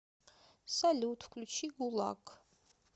салют включи гулаг